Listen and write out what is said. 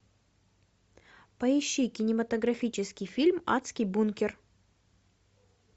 поищи кинематографический фильм адский бункер